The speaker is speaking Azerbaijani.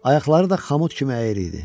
Ayaqları da xamut kimi əyri idi.